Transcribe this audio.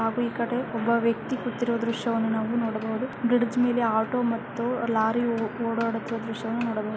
ನಾವು ಈ ಕಡೆ ಒಬ್ಬ ವ್ಯಕ್ತಿ ಕೂತಿರುವ ದೃಶ್ಯಾವನ್ನು ನೋಡಬಹುದು ಬ್ರಿಡ್ಜ್ ಮೇಲೆ ಆಟೋ ಮತ್ತು ಲಾರಿ ಓಡಾಡುತಿರುವ ದೃಶ್ಯಾವನ್ನು ನೋಡಬಹುದು.